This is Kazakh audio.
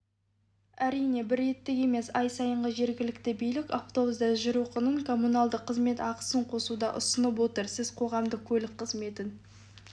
әрине бір реттік емес ай сайынғы жергілікті билік автобуста жүру құнын коммуналдық қызмет ақысына қосуды ұсынып отыр сіз қоғамдық көлік қызметін